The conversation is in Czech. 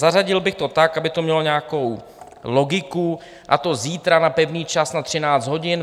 Zařadil bych to tak, aby to mělo nějakou logiku, a to zítra na pevný čas na 13 hodin.